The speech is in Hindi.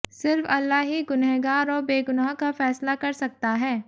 सिर्फ अल्लाह ही गुनहगार और बेगुनाह का फैसला कर सकता है